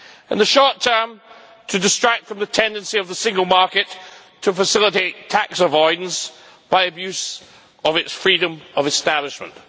In the short term, to distract from the tendency of the single market to facilitate tax avoidance by abuse of its freedom of establishment